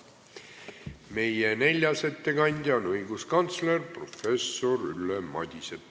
Meie neljas ettekandja on õiguskantsler professor Ülle Madise.